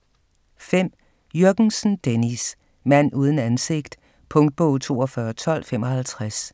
5. Jürgensen, Dennis: Mand uden ansigt Punktbog 421255